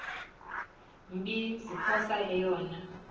mbi ziphosa eyona